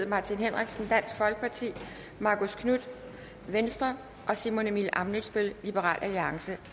martin henriksen marcus knuth og simon emil ammitzbøll